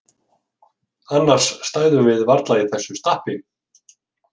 Annars stæðum við varla í þessu stappi.